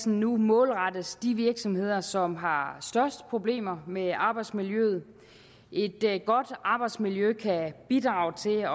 nu målrettes de virksomheder som har største problemer med arbejdsmiljøet et godt arbejdsmiljø kan bidrage til